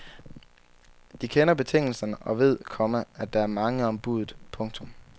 De kender betingelserne og ved, komma at der er mange om budet. punktum